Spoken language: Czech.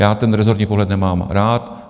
Já ten rezortní pohled nemám rád.